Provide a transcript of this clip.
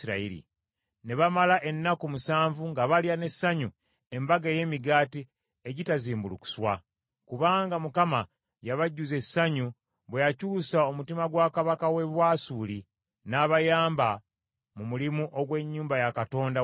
Ne bamala ennaku musanvu nga balya n’essanyu Embaga ey’Emigaati Egitazimbulukuswa, kubanga Mukama yabajjuza essanyu bwe yakyusa omutima gwa kabaka w’e Bwasuli, n’abayamba mu mulimu ogw’ennyumba ya Katonda wa Isirayiri.